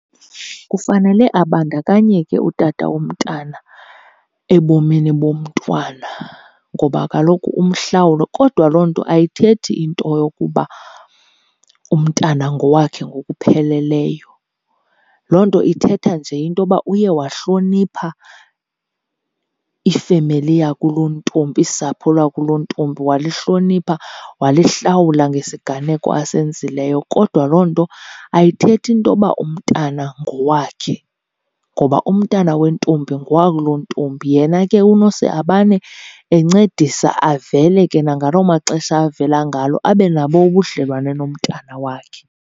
Kufanele abandakanyeke utata womntana ebomini bomntwana ngoba kaloku umhlawule, kodwa loo nto ayithethi into yokuba umntana ngowakhe ngokupheleleyo. Loo nto ithetha nje into yoba uye wahlonipha ifemeli yakulontombi, usapho lakulontombi, walihlonipha walihlawula ngesiganeko asenzileyo. Kodwa loo nto ayithethi into yoba umntana ngowakhe ngoba umntana wentombi ngowakulontombi. Yena ke unose abane encedisa avele ke nangaloo maxesha avela ngalo, abe nabo ubudlelwane nomntana wakhe.